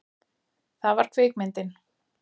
Það var kvikmyndin